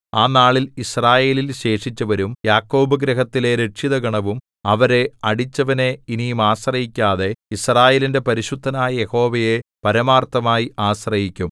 ആ നാളിൽ യിസ്രായേലിൽ ശേഷിച്ചവരും യാക്കോബ് ഗൃഹത്തിലെ രക്ഷിതഗണവും അവരെ അടിച്ചവനെ ഇനി ആശ്രയിക്കാതെ യിസ്രായേലിന്റെ പരിശുദ്ധനായ യഹോവയെ പരമാർത്ഥമായി ആശ്രയിക്കും